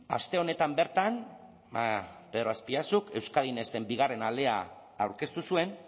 aste honetan bertan pedro azpiazuk euskadi next en bigarren alea aurkeztu zuen